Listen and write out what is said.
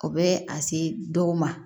O bɛ a se dɔw ma